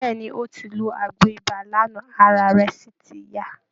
Bẹ́ẹ̀ ni, ó ti lo àgbo ibà lánàá, ara rẹ sì ti yá